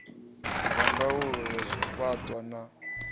wa ndaulo ya zwiṱunḓwa na